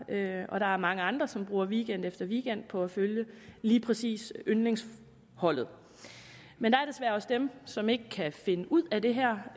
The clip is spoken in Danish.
og der er mange andre som bruger weekend efter weekend på at følge lige præcis yndlingsholdet men der er desværre også dem som ikke kan finde ud af det her